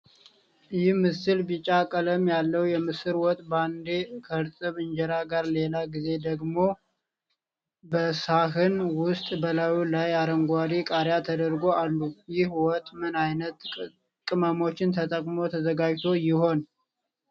ይህ ምስል ቢጫ ቀለም ያለው የምስር ወጥ በአንዴ ከእርጥብ እንጀራ ጋር ሌላ ጊዜ ደግሞ በሳህን ውስጥ በላዩ ላይ አረንጓዴ ቃሪያ ተደርጎ አሉ። ይህ ወጥ ምን አይነት ቅመሞች ተጠቅሞ ተዘጋጅቶ ይሆን?